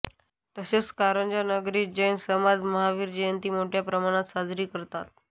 तसेच कारंजा नगरीत जैन समाज महावीर जयंती मोठया प्रमाणात साजरी करतात